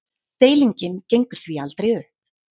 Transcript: Deilingin gengur því aldrei upp.